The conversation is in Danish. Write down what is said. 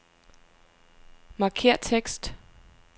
Markér tekst.